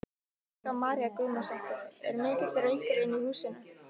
Helga María Guðmundsdóttir: Er mikill reykur inni í húsinu?